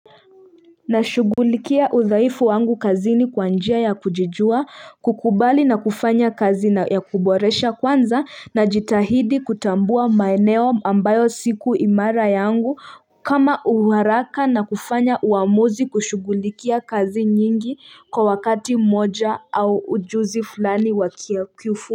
Nashugulikia udhaifu wangu kazini kwa njia ya kujijua kukubali na kufanya kazi na ya kuboresha kwanza na jitahidi kutambua maeneo ambayo siku imara yangu. Kama uharaka na kufanya uamuzi kushughulikia kazi nyingi kwa wakati moja au ujuzi fulani wakia kufu.